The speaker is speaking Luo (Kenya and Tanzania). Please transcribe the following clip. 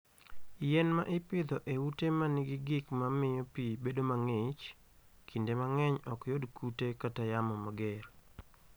Yien ma ipidho e ute ma nigi gik ma miyo pi bedo mang'ich, kinde mang'eny ok yud kute kata yamo mager.